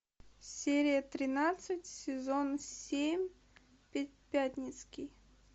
серия тринадцать сезон семь пятницкий